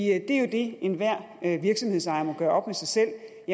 er jo det enhver virksomhedsejer må gøre op med sig selv